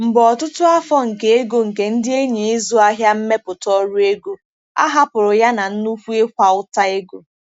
Mgbe ọtụtụ afọ nke ego nke ndị enyi 'ịzụ ahịa mmepụta ọrụ ego, a hapụrụ ya na nnukwu ịkwa ụta ego.